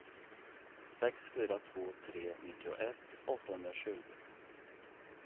sex fyra två tre nittioett åttahundratjugo